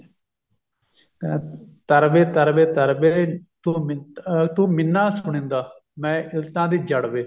ਕਹਿੰਦਾ ਤਰ ਵੇ ਤਰ ਵੇ ਤਰ ਵੇ ਤੂੰ ਮਿੰ ਤੂੰ ਮਿੰਨਾ ਸੁਣੀਂਦਾ ਮੈਂ ਇੱਲਤਾਂ ਦੀ ਜੜ੍ਹ ਵੇ